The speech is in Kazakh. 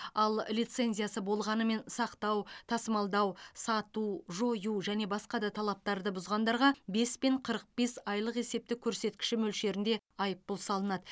ал лицензиясы болғанымен сақтау тасымалдау сату жою және басқа да талаптарды бұзғандарға бес пен қырық бес айлық есептік көрсеткіші мөлшерінде айыппұл салынады